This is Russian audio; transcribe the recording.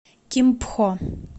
кимпхо